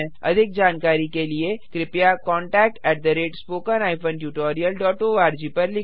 अधिक जानकारी के लिए कृपया contactspoken tutorialorg पर लिखें